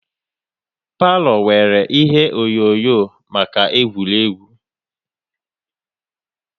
Palo nwèrè ihe onyonyo maka egwuregwu